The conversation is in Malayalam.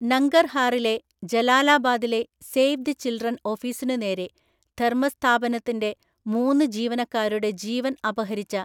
നംഗർഹാറിലെ ജലാലാബാദിലെ സേവ് ദി ചിൽഡ്രൻ ഓഫീസിനുനേരെ ധര്‍മസ്ഥാപനത്തിന്‍റെ മൂന്ന് ജീവനക്കാരുടെ ജീവൻ അപഹരിച്ച,